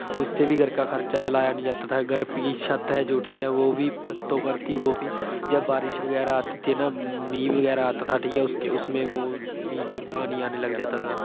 ਉਸਸੇ ਵੀ ਘਰ ਦਾ ਖਰਚਾ ਚਲਾਇਆ ਨਹੀਂ ਜਾਤਾ ਥਾ, ਘਰ ਕੀ ਛੱਤ ਹੈ ਜੋ ਵੋ ਬੀ, ਜਬ ਬਾਰਿਸ਼ ਵਗੈਰਾ ਆਤੀ ਥੀ, ਮੀਂਹ ਵਗੈਰਾ ਆਤਾ ਥਾ, ਉਸਮੇਂ ਵੋ ਨੀਚੇ ਪਾਣੀ ਆਣੇ ਲੱਗ ਜਾਤਾ ਥਾ।